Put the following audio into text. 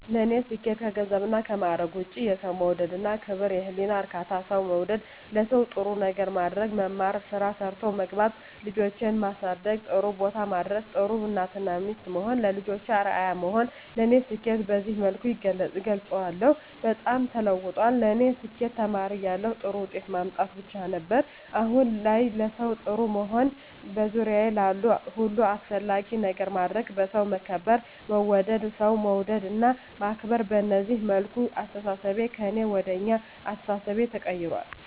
ለኔ ስኬት ከገንዘብና ከማዕረግ ውጭ የሠው መውደድ እና ክብር፤ የህሊና እርካታ፤ ሠው መውደድ፤ ለሠው ጥሩ ነገር ማድረግ፤ መማር፤ ስራ ሠርቶ መግባት፤ ልጆቼን ማሠደግ ጥሩቦታ ማድረስ፤ ጥሩ እናት እና ሚስት መሆን፤ ለልጆቼ አርያ መሆን ለኔ ስኬትን በዚህ መልኩ እገልፀዋለሁ። በጣም ተለውጧል ለኔ ስኬት ተማሪ እያለሁ ጥሩ ውጤት ማምጣት ብቻ ነበር። አሁን ላይ ለሠው ጥሩ መሆን፤ በዙሪያዬ ላሉ ሁሉ አስፈላጊ ነገር ማድረግ፤ በሠው መከበር መወደድ፤ ሠው መውደድ እና ማክበር፤ በዚህ መልኩ አስተሣሠቤ ከእኔ ወደ አኛ አስተሣሠቤ ተቀይራል።